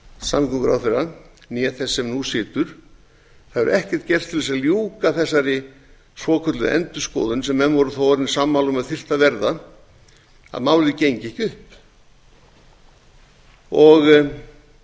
samgönguráðherra né þess sem nú situr það hefur ekkert gerst til þess að ljúka þessari svokölluðu endurskoðun sem menn voru þó orðnir sammála um að þyrfti að verða að málið gengi ekki upp